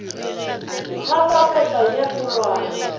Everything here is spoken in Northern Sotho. ga papetla ye e kgolwane